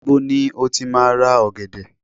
níbo ni o ti ma ra ògèdè